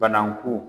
Bananku